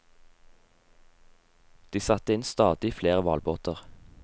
De satte inn stadig flere hvalbåter.